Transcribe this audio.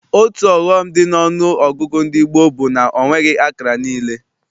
Otu ọghọm dị n'ọnụọgụgụ ndị gboo bụ na ọ nweghị akara niile.